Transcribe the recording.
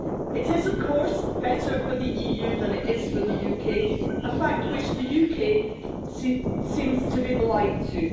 It is, of course, better for the EU than it is for the UK a fact which the UK seems to be blind to.